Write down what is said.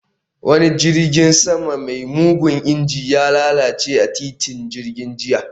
Wani jirgin sama mai mugun injin, ya lalace a titin jirgin jiya